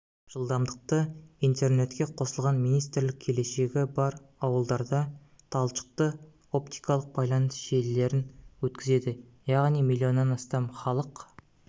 жылдамдықты интернетке қосылған министрлік келешегі бар ауылдарда талшықты-оптикалық байланыс желілерін өткізеді яғни миллионнан астам халық